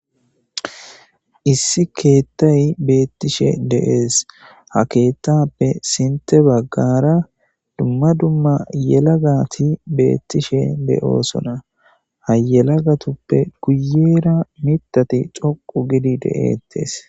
issi keettay beettishe dees ha keettappe sinte baggara dumma dumma yelagati beettishe de7oosona ha yelagatuppe guyeera mitati coqu gidi de7ettes